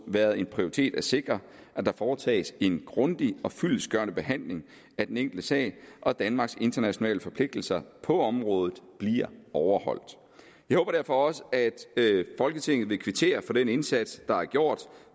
været en prioritet at sikre at der foretages en grundig og fyldestgørende behandling af den enkelte sag og at danmarks internationale forpligtelser på området bliver overholdt jeg håber derfor også at folketinget vil kvittere for den indsats der er gjort